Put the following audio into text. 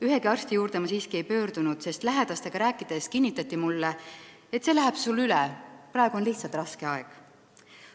Ühegi arsti juurde ma siiski ei pöördunud, sest lähedastega rääkides kinnitati mulle, et see läheb sul üle, praegu on lihtsalt raske aeg.